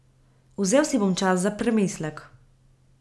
Vzel si bom čas za premislek.